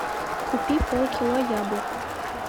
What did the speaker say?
купи полкило яблок